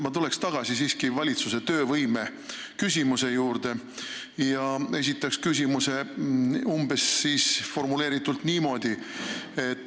Ma tuleks tagasi siiski valitsuse töövõime küsimuse juurde ja formuleeriks oma küsimuse umbes niimoodi.